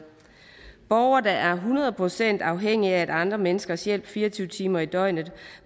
borgere der er hundrede procent afhængig af andre menneskers hjælp fire og tyve timer i døgnet og